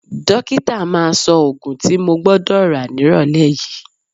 Dókítà máa sọ òògùn tí mo gbọ́dọ̀ rà nírọ̀lẹ́ yìí